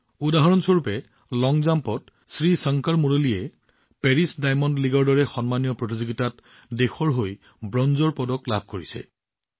উদাহৰণস্বৰূপে লং জাম্পত শ্ৰীশংকৰ মুৰালীয়ে পেৰিছ ডাইমণ্ড লীগৰ দৰে সন্মানীয় ইভেণ্টত দেশৰ হৈ ব্ৰঞ্জৰ পদক লাভ কৰিছে